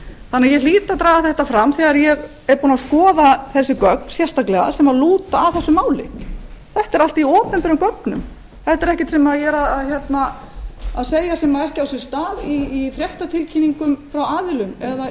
þannig að ég hlýt að draga þetta fram þegar ég er búin að skoða þessi gögn sérstaklega sem lúta að þessu máli þetta er allt í opinberum gögnum þetta er ekkert sem ég er að segja sem ekki á sér stað í fréttatilkynningum frá aðilum eða